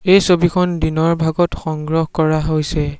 এই ছবিখন দিনৰ ভাগত সংগ্ৰহ কৰা হৈছে।